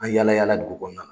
An yala yala dugu kɔnɔna na.